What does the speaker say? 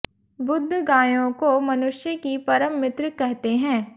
बुद्ध गायों को मनुष्य की परम मित्र कहते हैं